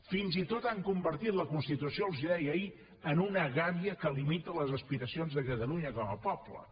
fins i tot han convertit la constitució els ho deia ahir en una gàbia que limita les aspiracions de catalunya com a poble